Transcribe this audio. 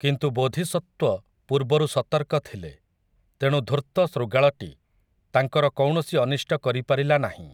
କିନ୍ତୁ ବୋଧିସତ୍ତ୍ୱ ପୂର୍ବରୁ ସତର୍କ ଥିଲେ, ତେଣୁ ଧୂର୍ତ୍ତ ଶୃଗାଳଟି, ତାଙ୍କର କୌଣସି ଅନିଷ୍ଟ କରିପାରିଲା ନାହିଁ ।